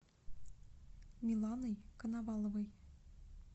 миланой коноваловой